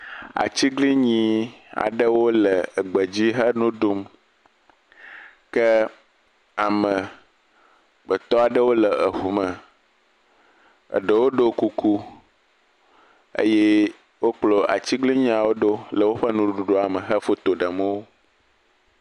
Atiglinyi aɖewo le egbe dzi henu ɖum ke amegbetɔ aɖewo le eŋu me eɖewo ɖɔ kuku eye wo kplɔ atiglinyiawo ɖo le woƒe nuɖuɖua me he foto ɖem wo.